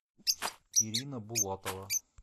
ирина булатова